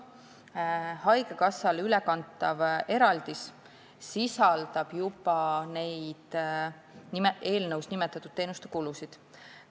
Haigekassale ülekantav eraldis sisaldab juba neid eelnõus nimetatud teenuste kulusid.